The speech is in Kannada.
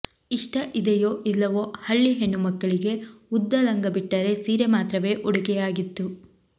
ಇಷ್ಟ ಇದೆಯೋ ಇಲ್ಲವೋ ಹಳ್ಳಿ ಹೆಣ್ಣುಮಕ್ಕಳಿಗೆ ಉದ್ದ ಲಂಗ ಬಿಟ್ಟರೆ ಸೀರೆ ಮಾತ್ರವೇ ಉಡುಗೆಯಾಗಿತ್ತು